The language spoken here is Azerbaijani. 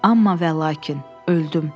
Amma və lakin, öldüm.